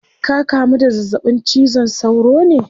Ka kamu da zazzabin cizon sauro ne?